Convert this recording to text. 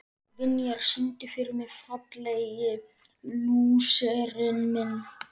Vinjar, syngdu fyrir mig „Fallegi lúserinn minn“.